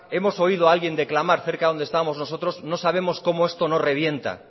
hemos oído alguien declamar cerca de donde estábamos nosotros no sabemos como esto no revienta